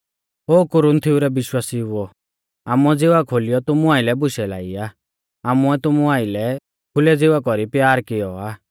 ओ कुरिन्थिओ रै विश्वासिउओ आमुऐ ज़िवा खोलियौ तुमु आइलै बुशै लाई आ आमुऐ तुमु आइलै खुलै ज़िवा कौरी प्यार कियौ आ